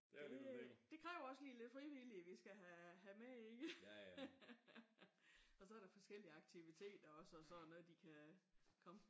Det det kræver også lige lidt frivillige vi skal have med i det. Og så er der forskellige aktiviteter og så sådan noget de kan komme